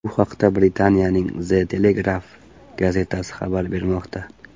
Bu haqda Britaniyaning The Telegraph gazetasi xabar bermoqda .